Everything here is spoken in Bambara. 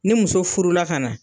Ni muso furula ka na